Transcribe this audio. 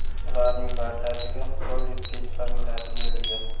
Ularning barchasiga Joli-Pitt familiyasi berilgan.